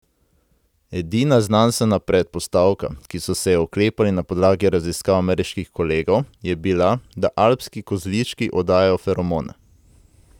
Edina znanstvena predpostavka, ki so se je oklepali na podlagi raziskav ameriških kolegov, je bila, da alpski kozlički oddajajo feromone.